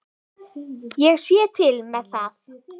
Ég sé til með það.